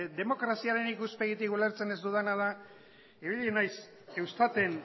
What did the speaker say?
demokraziaren ikuspegitik ulertzen ez dudana da ibili naiz eustaten